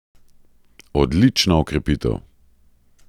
Odlična okrepitev!